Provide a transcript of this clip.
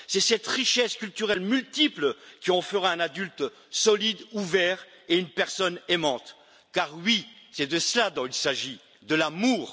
C'est cette richesse culturelle multiple qui en fera un adulte solide, ouvert et une personne aimante, car c'est bien de cela qu'il s'agit, de l'amour.